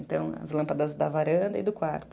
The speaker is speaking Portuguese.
Então, as lâmpadas da varanda e do quarto.